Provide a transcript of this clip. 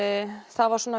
það var